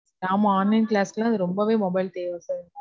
ஆமா. Online class க்கு எல்லாம் அது ரொம்பவே mobile தேவ sir